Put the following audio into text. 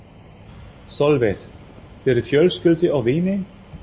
Sólveig: Fyrir fjölskyldu og vini?